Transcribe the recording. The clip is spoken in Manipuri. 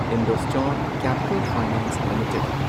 Indostar capital finance limited